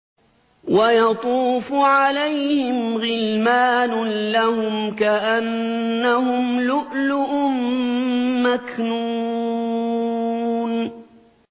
۞ وَيَطُوفُ عَلَيْهِمْ غِلْمَانٌ لَّهُمْ كَأَنَّهُمْ لُؤْلُؤٌ مَّكْنُونٌ